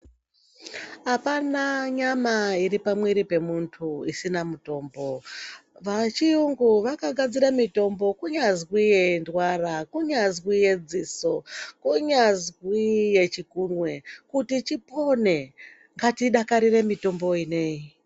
Apana nyama iri pamumwivri pemuntu isina mutombo vechiyungu vakanasire mitombo kunyazwi yendwara kunyazi yedziso kunyasi yechikunwe kuti tipone ngatidakarireyi mutombo iyi neiyi.